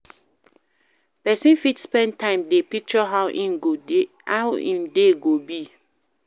Person fit spend time dey picture how im day go be